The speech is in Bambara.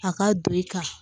A ka don i kan